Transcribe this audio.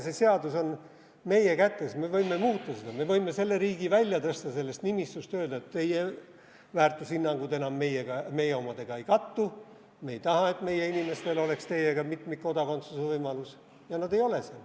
See seadus on meie kätes, me võime muuta seda, me võime selle riigi sellest nimistust välja tõsta ja öelda, et teie väärtushinnangud enam meie omadega ei kattu, me ei taha, et meie inimestel oleks teiega mitmikkodakondsuse võimalus, ja nad ei ole seal.